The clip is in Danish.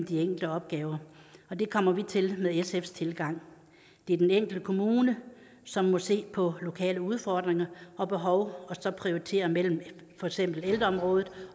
de enkelte opgaver det kommer vi til med sfs tilgang det er den enkelte kommune som må se på lokale udfordringer og behov og prioritere mellem for eksempel ældreområdet